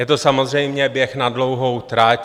Je to samozřejmě běh na dlouhou trať.